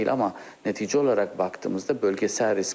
Amma nəticə olaraq baxdığımızda bölgesəl risk.